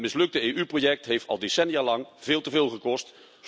Het mislukte EU project heeft al decennialang veel te veel gekost.